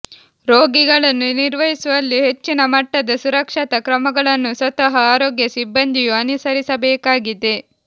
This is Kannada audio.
ರೋಗಿಗಳನ್ನು ನಿರ್ವಹಿಸುವಲ್ಲಿ ಹೆಚ್ಚಿನ ಮಟ್ಟದ ಸುರಕ್ಷತಾ ಕ್ರಮಗಳನ್ನು ಸ್ವತಃ ಆರೋಗ್ಯ ಸಿಬ್ಬಂದಿಯೂ ಅನುಸರಿಸಬೇಕಾಗಿದೆ